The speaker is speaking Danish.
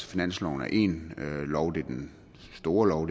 finansloven er én lov det er den store lov